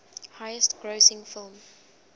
highest grossing film